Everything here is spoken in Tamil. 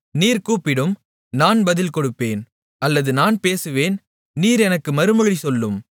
நீர் கூப்பிடும் நான் பதில் கொடுப்பேன் அல்லது நான் பேசுவேன் நீர் எனக்கு மறுமொழி சொல்லும்